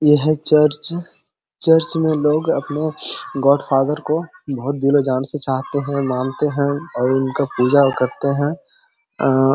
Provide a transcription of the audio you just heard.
यह है church church में लोग अपने गॉडफादर को बोहत दिलो-जान से चाहते है मानते है और उनका पूजा करते है। अऽ --